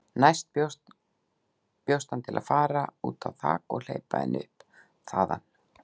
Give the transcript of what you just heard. Næst bjóst hann til að fara út á þak og hleypa henni upp þaðan.